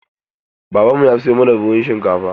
Babanmu ya sayo mana buhun shinkafa.